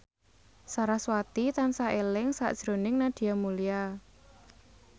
sarasvati tansah eling sakjroning Nadia Mulya